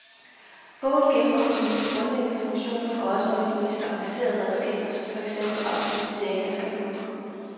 Bogen gennemgår de mest grundlæggende funktioner og også nogle af de mere avancerede redskaber som for eksempel automatisering af skabeloner.